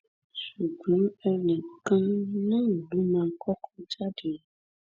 ṣùgbọn ẹnì kan náà ló mà kọkọ jáde